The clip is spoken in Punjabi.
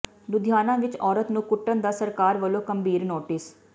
ਲੁਧਿਆਣਾ ਵਿੱਚ ਔਰਤ ਨੂੰ ਕੁੱਟਣ ਦਾ ਸਰਕਾਰ ਵੱਲੋਂ ਗੰਭੀਰ ਨੋਟਿਸ